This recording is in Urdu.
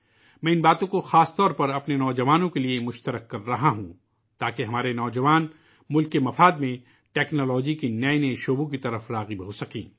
میں ان چیزوں کو خصوصاً اپنے نوجوانوں کے لئے ساجھا کر رہا ہوں تاکہ ہمارے نوجوانوں کو قوم کے مفاد میں ٹیکنالوجی کے نئے شعبوں کی طرف راغب کیا جاسکے